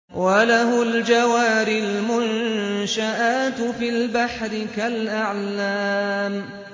وَلَهُ الْجَوَارِ الْمُنشَآتُ فِي الْبَحْرِ كَالْأَعْلَامِ